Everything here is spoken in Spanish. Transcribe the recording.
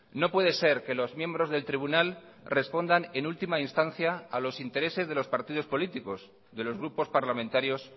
no puede ser que los miembros del tribunal respondan en última instancia a los intereses de los partidos políticos de los grupos parlamentarios